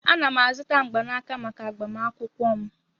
Ana m azụta mgbanaka maka agbamakwụkwọ m.